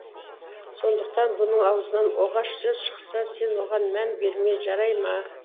сондықтан бұның аузынан оғаш сөз шықса сен оған мән берме жарай ма